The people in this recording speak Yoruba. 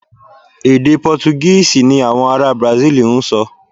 Èdè Pọ́túgíìsì ni àwọn ará Brasil ń sọ.